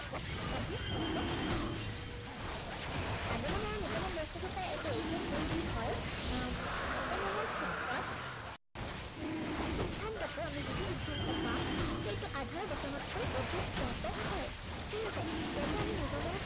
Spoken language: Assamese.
আগমন আৰু নিগমন বস্তুটো প্ৰায় একেই। কিন্তু কি হয় আহ আগমনৰ ক্ষেত্ৰত সিদ্ধান্তটো, আমি যিটো সিদ্ধান্ত পাম, সেইটো আধাৰ বচনতকৈ অধিক ব্য়াপক হয়। ঠিক আছে, ইয়াতে আমি নিগমনত